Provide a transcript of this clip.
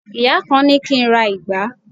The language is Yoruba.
ìyá kan ni ki n ra ìgbá